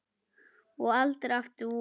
Og aldrei aftur vor.